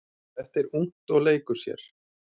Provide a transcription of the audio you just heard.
Þetta er ungt og leikur sér.